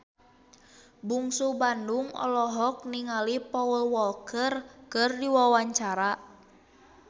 Bungsu Bandung olohok ningali Paul Walker keur diwawancara